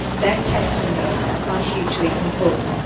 Their testimonies are hugely important.